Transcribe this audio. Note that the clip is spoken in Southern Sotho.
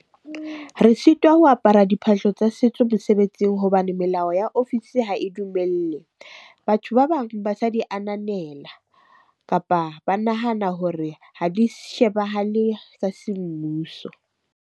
Re sitwa ho apara diphahlo tsa setso mosebetsing hobane melao ya ofisi ha e dumelle. Batho ba bang di ananela, kapa ba nahana hore ha di shebahale semmuso.